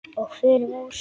Og förum úr.